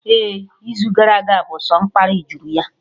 Ehhh, izu gara aga bụ sọ mkparị juru ya